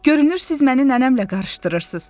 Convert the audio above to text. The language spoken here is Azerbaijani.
görünür siz məni nənəmlə qarışdırırsınız.